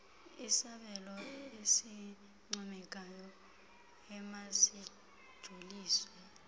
isabelo esincomekayo emasijoliswe